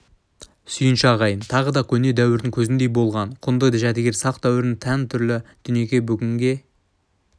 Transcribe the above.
сүйінші ағайын тағы да көне дәуірдің көзіндей болған құнды жәдігер сақ дәуіріне тән түрлі дүниені бүгінге